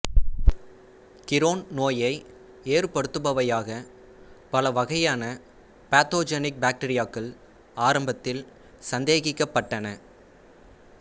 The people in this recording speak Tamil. கிரோன் நோயை ஏற்படுத்துபவையாக பலவகையான பேத்தோஜெனிக் பாக்டீரியாக்கள் ஆரம்பத்தில் சந்தேகிக்கப்பட்டன